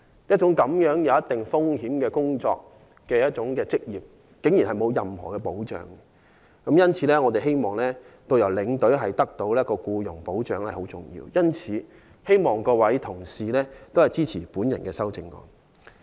這種存在一定風險的職業，竟然不受任何保障。因此，我們認為有必要為導遊和領隊提供僱傭保障。我希望各位議員支持我的修正案。